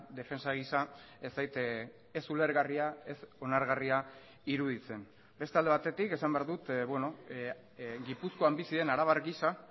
defentsa gisa ez zait ez ulergarria ez onargarria iruditzen beste alde batetik esan behar dut gipuzkoan bizi den arabar gisa